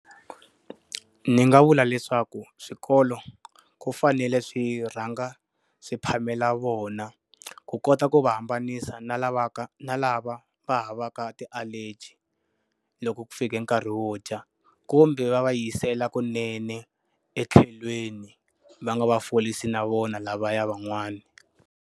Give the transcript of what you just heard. Ni nga vula leswaku swikolo ku fanele swi rhanga swi phamela vona, ku kota ku va hambanisa na lavaka na lava va havaka ti-allergy loko ku fike nkarhi wo dya. Kumbe va va yisela kunene etlhelweni,, va nga va forisi na vona lavaya van'wana.